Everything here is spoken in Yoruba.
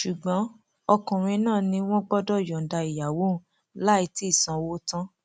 ṣùgbọn ọkùnrin náà ni wọn gbọdọ yọǹda ìyàwó òun láì tì í sanwó tán